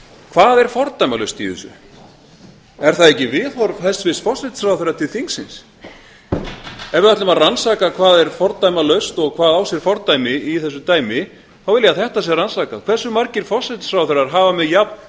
hvað er fordæmalaust í þessu er það ekki viðhorf hæstvirts forsætisráðherra til þingsins ef við ætlum að rannsaka hvað er fordæmalaust og hvað á sér fordæmi í þessu dæmi þá vil ég að þetta sé rannsakað hve margir forsætisráðherrar hafa með jafn